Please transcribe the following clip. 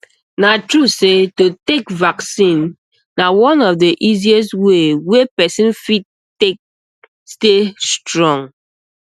na true say to take um vaccine na one of the easiest way wey person fit take stay um strong